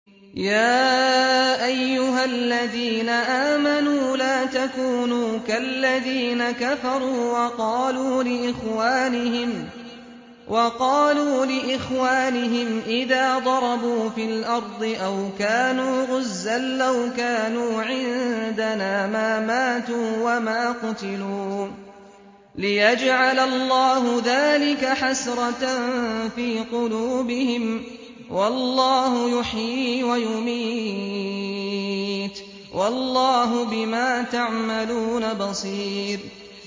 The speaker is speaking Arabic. يَا أَيُّهَا الَّذِينَ آمَنُوا لَا تَكُونُوا كَالَّذِينَ كَفَرُوا وَقَالُوا لِإِخْوَانِهِمْ إِذَا ضَرَبُوا فِي الْأَرْضِ أَوْ كَانُوا غُزًّى لَّوْ كَانُوا عِندَنَا مَا مَاتُوا وَمَا قُتِلُوا لِيَجْعَلَ اللَّهُ ذَٰلِكَ حَسْرَةً فِي قُلُوبِهِمْ ۗ وَاللَّهُ يُحْيِي وَيُمِيتُ ۗ وَاللَّهُ بِمَا تَعْمَلُونَ بَصِيرٌ